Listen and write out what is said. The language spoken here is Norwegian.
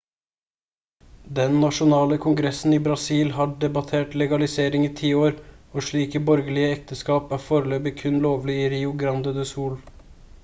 den nasjonale kongressen i brasil har debattert legaliseringen i 10 år og slike borgerlige ekteskap er foreløpig kun lovlig i rio grande do sul